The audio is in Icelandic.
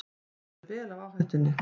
Vissu vel af áhættunni